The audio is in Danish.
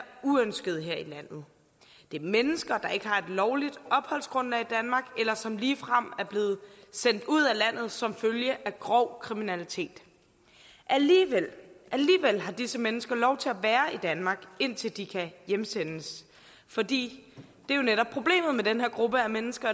uønskede her i landet det er mennesker der ikke har et lovligt opholdsgrundlag i danmark eller som ligefrem er blevet sendt ud af landet som følge af grov kriminalitet alligevel har disse mennesker lov til at være i danmark indtil de kan hjemsendes fordi problemet med den her gruppe af mennesker